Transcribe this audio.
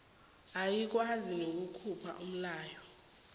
ayikwazi nokukhupha umlayo